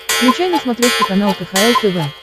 включай на смотрешке канал кхл тв